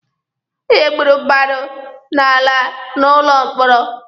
Onye gburu mmadụ na-ala n'ụlọ mkpọrọ.